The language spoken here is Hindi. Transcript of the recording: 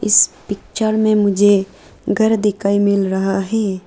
इस पिक्चर में मुझे घर दिखाई मिल रहा है।